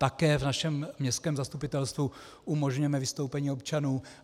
Také v našem městském zastupitelstvu umožňujeme vystoupení občanů.